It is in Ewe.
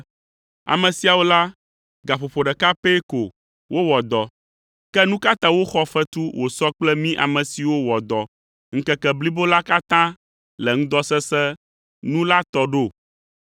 ‘Ame siawo la, gaƒoƒo ɖeka pɛ ko wowɔ dɔ, ke nu ka ta woxɔ fetu wòsɔ kple mí ame siwo wɔ dɔ ŋkeke blibo la katã le ŋdɔ sesẽ nu la tɔ ɖo?’